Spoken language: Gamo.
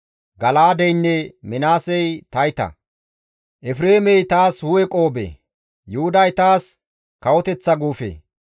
Gala7aadeynne Minaasey tayta; Efreemey taas hu7e qoobe; Yuhuday taas kawoteththa guufe.